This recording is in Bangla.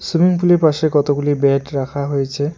সুইমিং পুল -এর পাশে কতগুলি বেড রাখা হয়েছে।